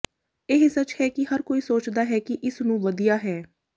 ਇਹ ਸੱਚ ਹੈ ਕਿ ਹਰ ਕੋਈ ਸੋਚਦਾ ਹੈ ਕਿ ਇਸ ਨੂੰ ਵਧੀਆ ਹੈ